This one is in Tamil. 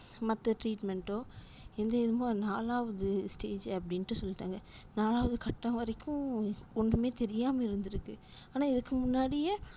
மத்த treatment ஓ இந்த இதுவா நாலாவது stage அப்டினுட்டு சொல்லிட்டாங்க நாலாவது கட்டம் வரைக்கும் ஒன்னுமே தெரியாம இருந்துருக்கு ஆனா இதுக்கு முன்னாடியே